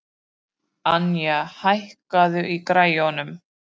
Anja, hækkaðu í græjunum.